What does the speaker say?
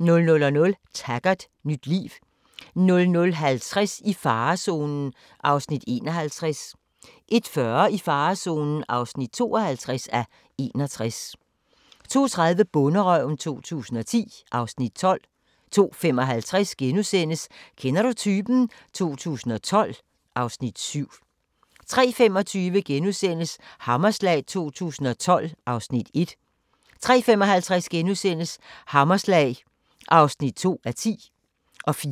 00:00: Taggart: Nyt liv 00:50: I farezonen (51:61) 01:40: I farezonen (52:61) 02:30: Bonderøven 2010 (Afs. 12) 02:55: Kender du typen? 2012 (Afs. 7)* 03:25: Hammerslag 2012 (Afs. 1)* 03:55: Hammerslag (2:10)* 04:40: